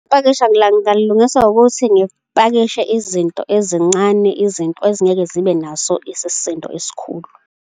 Ipakisha ngingalilungisa ngokuthi ngipakisha izinto ezincane, izinto ezingeke zibe naso isisindo esikhulu.